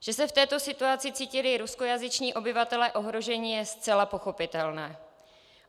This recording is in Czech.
Že se v této situaci cítili ruskojazyční obyvatelé ohroženi, je zcela pochopitelné.